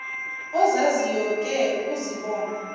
ozaziyo oke uzibone